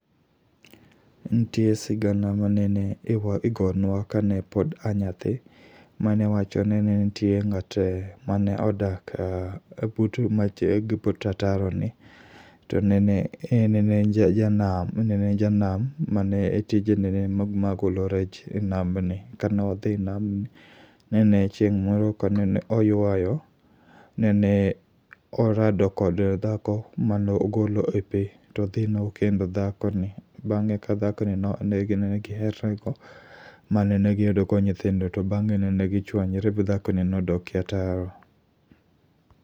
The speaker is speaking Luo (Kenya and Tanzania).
Ntie sigana ma nene iwa igonwa kane pod anyathi, mane wacho ni ne nitie ng'ate mane odak but ataro ni. To nene en janam mane tije nene ma golo rech e nambni. ka ne odhi nambni, nene chieng' moro ka nene oywayo, nene orado kod dhako mano ogolo e pi. Todhi nokendo dhako ni, bang'e ka dhako ni ne giherore go mane giyudo go nyithindo. To bang'e ne gichwanyore b dhako ni nodokie ataro.